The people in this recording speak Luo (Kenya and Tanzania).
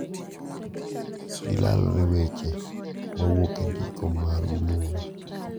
Gilalre weche ma wuok e ndiko mag muma,